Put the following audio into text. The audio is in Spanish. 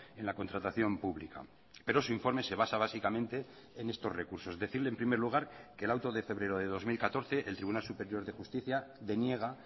en la contratación pública pero su informe se basa básicamente en estos recursos decirle en primer lugar que el auto de febrero de dos mil catorce el tribunal superior de justicia deniega